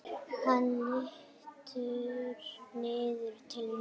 Hann lítur niður til mín.